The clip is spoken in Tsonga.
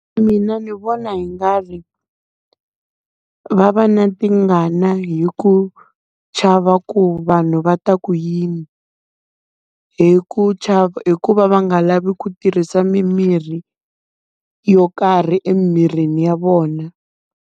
Mina ni vona i nga ri va va na tingana hi ku chava ku vanhu va ta ku yini. Hi ku hi ku va va nga lavi ku tirhisa mimirhi yo karhi emirini ya vona.